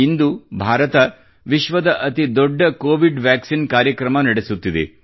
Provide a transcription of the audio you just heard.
ಇಂದು ಭಾರತ ವಿಶ್ವದ ಅತಿ ದೊಡ್ಡ ಕೋವಿಡ್ ವ್ಯಾಕ್ಸಿನ್ ಕಾರ್ಯಕ್ರಮ ನಡೆಸುತ್ತಿದೆ